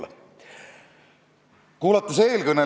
Nad peavad oma sõnu sööma, sest kõik me näeme, et toimub massiline rikkumine.